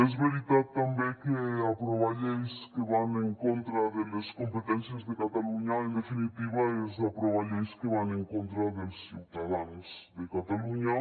és veritat també que aprovar lleis que van en contra de les competències de catalunya en definitiva és aprovar lleis que van en contra dels ciutadans de catalunya